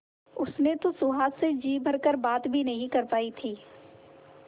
उसने तो सुहास से जी भर कर बात भी नहीं कर पाई थी